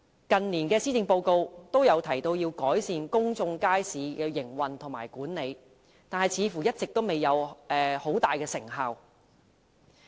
近年的施政報告也有提及改善公眾街市的營運和管理，但似乎一直未有多大成效。